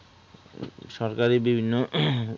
. সরকারি বিভিন্ন